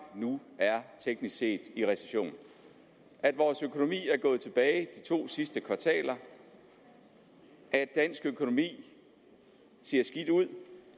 nu teknisk set er i recession at vores økonomi er gået tilbage de to sidste kvartaler at dansk økonomi ser skidt ud